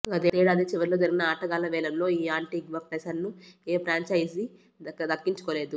గతేడాది చివర్లో జరిగిన ఆటగాళ్ల వేలంలో ఈ ఆంటిగ్వా పేసర్ను ఏ ఫ్రాంచైజీ దక్కించుకోలేదు